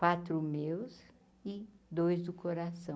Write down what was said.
Quatro meus e dois do coração.